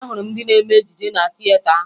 Ahụrụ m ndị na-eme ejije na tieta ahụ